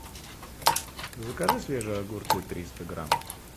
закажи свежие огурцы триста грамм